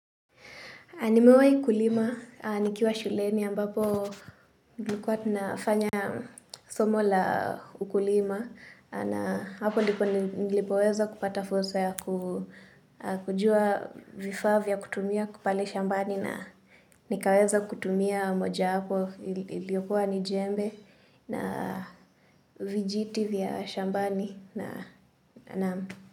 Nimewahi kulima, nikiwa shuleni ambapo nilikuwa nafanya. Somo la ukulima na hapo ndipo nilipoweza kupata fursa ya kujua vifaa vya kutumia pale shambani na nikaweza kutumia moja hapo iliyokuwa ni jembe na. Vijiti vya shambani na naam.